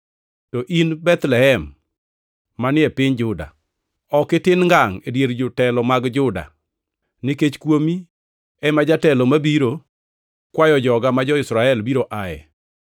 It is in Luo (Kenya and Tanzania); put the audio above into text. “ ‘To in, Bethlehem, manie piny Juda, ok itin ngangʼ e dier jotelo mag Juda; nikech kuomi ema jatelo mabiro kwayo joga ma jo-Israel biro ae.’ + 2:6 \+xt Mik 5:2\+xt*”